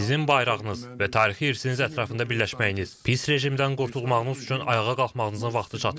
Sizin bayrağınız və tarixi irsiniz ətrafında birləşməyiniz, pis rejimdən qurtulmağınız üçün ayağa qalxmağınızın vaxtı çatıb.